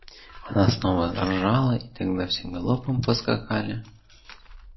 она снова заржала и тогда все галопом поскакали